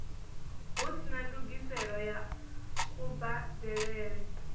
hu sina ndungiselo ya kubadelele